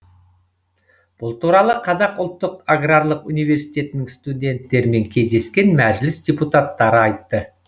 бұл туралы қазақ ұлттық аграрлық университетінің студенттерімен кездескен мәжіліс депутаттары айтты